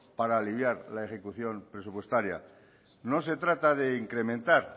para aliviar la ejecución presupuestaria no se trata de incrementar